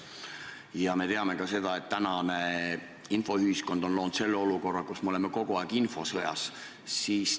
Ja me teame ka seda, et tänane infoühiskond on loonud selle olukorra, kus me oleme kogu aeg infosõjas.